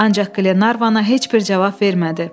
Ancaq Qlenarvana heç bir cavab vermədi.